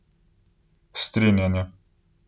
Strinjanje.